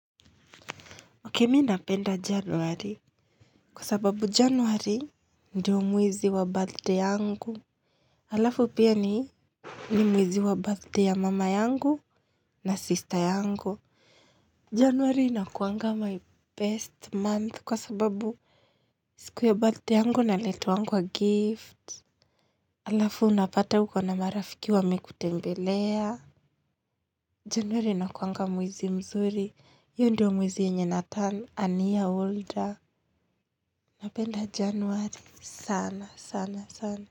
Okay mi napenda januari, kwa sababu januari ndio mwezi wa birthday yangu. Halafu pia ni, ni mwezi wa birthday ya mama yangu na sister yangu. Januari inakuanga my best month kwa sababu siku ya birthday yangu naletewangwa gift halafu unapata uko na marafiki wamekutembelea. Januari nakuanga mwizi mzuri. Hiyo ndio mwezi yenye naturn an year older. Napenda januari sana sana sana.